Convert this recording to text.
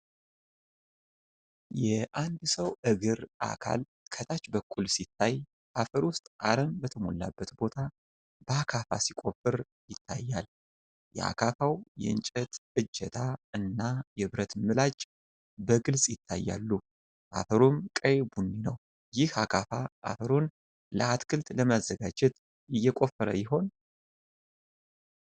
የአንድ ሰው እግር አካል ከታች በኩል ሲታይ፣ አፈር ውስጥ አረም በተሞላበት ቦታ በአካፋ ሲቆፈር ይታያል። የአካፋው የእንጨት እጀታ እና የብረት ምላጭ በግልጽ ይታያሉ፤ አፈሩም ቀይ ቡኒ ነው። ይህ አካፋ አፈሩን ለአትክልት ለመዘጋጀት እየቆፈረ ይሆን?